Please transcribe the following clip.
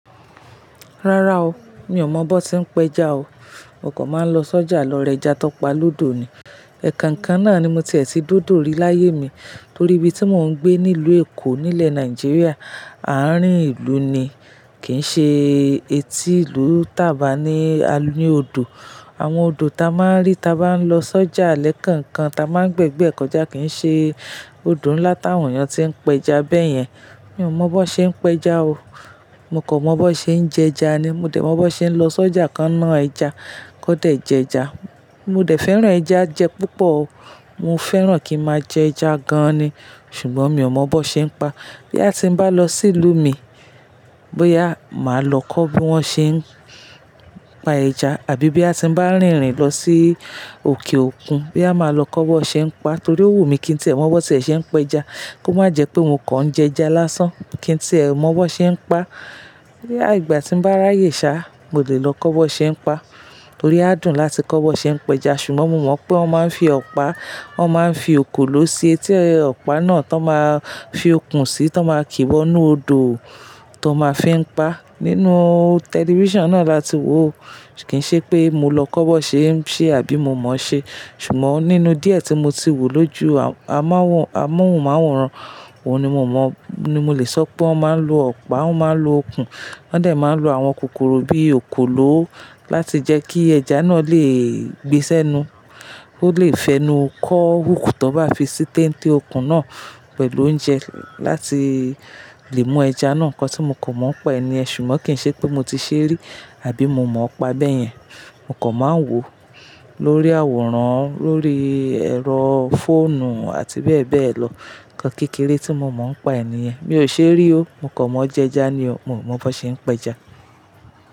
Rárá o, mi ò mọ bó se ń pẹja o. Mo kò má lọsi ojà lọ ra ẹja tọpa lódò ni. Ẹ̀ Kankan náà ni mo tiẹ̀ tí de odo rí láyé mi, torí ibi tí mò ń gbé nílùú Èkó, nílẹ̀ Nàìjíríà, àárín ìlú ni. Kì ń ṣe etí ìlú tàba ní aní odò. Àwọn odò ta máa ń rí ta bá ń lọ sọ́jà lẹ́ kankan ta máa ń gbé gbé ẹ̀ kọjá kìí ṣe odò ńlá táwọn èèyàn tí ń pẹja bẹ́ẹ̀ yẹn. Mi ò mọ bó ṣe ń pẹja o. Mo kan mọ bó ṣe ń jẹ ẹja ni. Mo dẹ̀ mọ bó ṣe ń lọ sọ́jà kan ná ẹja, kó dẹ̀ jẹ ẹja. Mo dẹ̀ fẹ́ran ẹja jẹ púpọ̀ o. Mo fẹ́ran kí ma jẹ ẹja gan ni. Ṣùgbọ́n mi ò mọ bó ṣe ń pa. Bí a ti ń bá lọ sí ìlú mi, bóyá màá lọ kọ́ bí wọ́n ṣe ń pa ẹja, àbí bí a ti ń bá rìnrìn lọ sí òkè òkun, bí a má lọ kọ́ bó ṣe ń pa, torí ò wù mí kí n tí ẹ̀ mọ bó ṣe ẹ̀ ṣe ń pẹja. Kó má jẹ pé mo kan jẹ ẹja lásán. Kí n tí ẹ̀ mọ bó ṣe ń pa. Bí ìgbà tí mo bá ráyè sá, mo lẹ̀ lọ kọ́ bó ṣe ń pa. Torí á dùn láti kọ́ bó ṣe ń pẹja. Ṣùgbọ́n mo mọ pé wọ́n máa ń fi ọ̀pá, wọ́n máa ń fi òkòló sí etí ọ̀pá náà tó máa fi okùn sí tó máa kí wọ́nú odò tó máa fi ń pa. Nínú tẹlifíṣàn náà la ti wò ó. Kìí ṣe pé mo lọ kọ́ bó ṣe ń ṣe àbí mo mọ̀ ṣe. Ṣùgbọ́n nínú díẹ̀ tí mo ti wo lóju ámọ́hùnmáwòrán, òun ni mo mọ, ni mo le sọ pé wọ́n máa ń lo ọ̀pá, wọ́n máa ń lo okùn. Wọ́n dẹ̀ máa ń lo àwọn kòkòrò bí i òkòló láti jẹ́ kí ẹja náà lè gbe sẹ́nu. Ko lè fẹnu kọ́ hoòkú tọ́ bá fi sí téńté́ okùn náà pẹ̀lú oúnjẹ láti lè mú ẹja náà. Ǹkan tí mo kò mọ̀ pa ẹni yẹn, ṣùgbọ́n kì ń ṣe pé mo ti ṣe rí àbí mo mọ̀ ọ́ pa bẹ́ẹ̀ yẹn. Mo kò máa ń wò ó lórí àwòrán, lórí ẹ̀rọ fóònù àti bẹ́ẹ̀ bẹ́ẹ̀ lọ. Ǹkan kékeré tí mo mo ń pa ẹni yẹn. Mi ò ṣe rí o. Mo kò mọ jẹ ẹja ni o. Mio mọ bó ṣe ń pẹja.